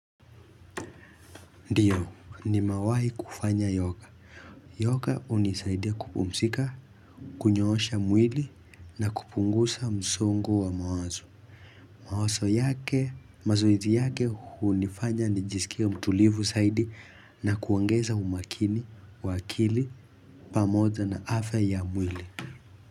Ndio nimewawahi kufanya yoga. Yoga unisaidia kupumzika, kunyoosha mwili na kupunguza msongo wa mawazo. Mawazo yake mazoezi yake unifanya nijisikie mtulivu zaidi na kuongeza umakini, wa akili, pamoja na afya ya mwili.